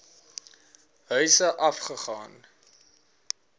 huise af gegaan